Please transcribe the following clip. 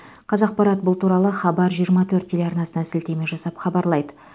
қазақпарат бұл туралы хабар жиырма төрт телеарнасына сілтеме жасап хабарлайды